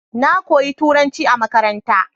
Na koyi Turnaci a makaranta.